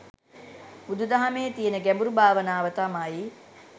බුදු දහමේ තියන ගැඹුරු භාවනාව තමයි